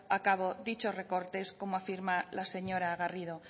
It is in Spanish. a cabo dichos recortes como afirma la señora garrido